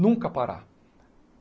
Nunca parar.